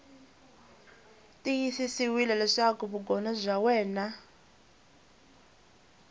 tiyisisiwile leswaku vugono bya wena